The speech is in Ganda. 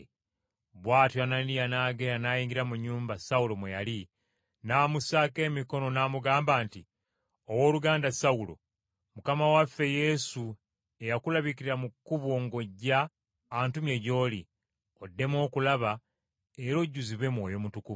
Bw’atyo Ananiya n’agenda n’ayingira mu nnyumba Sawulo mwe yali n’amussaako emikono n’amugamba nti, “Owooluganda Sawulo, Mukama waffe Yesu eyakulabikira mu kkubo ng’ojja antumye gy’oli, oddemu okulaba era ojjuzibwe Mwoyo Mutukuvu.”